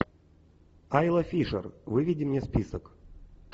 айла фишер выведи мне список